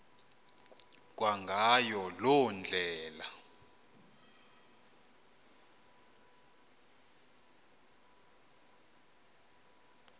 kwangayo loo ndlela